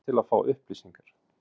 Réttur til að fá upplýsingar.